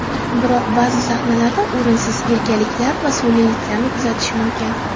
Biroq ba’zi sahnalarda o‘rinsiz erkaliklar va sun’iyliklarni kuzatish mumkin.